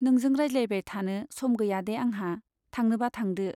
नोंजों रायज्लायबाय थानो सम गैयादे आंहा , थांनोबा थांदो।